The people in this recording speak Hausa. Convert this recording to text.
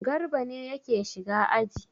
Garba ne yake shiga aji.